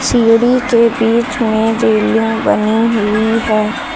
सीढ़ी के बीच में रेलिंग बनी हुई है।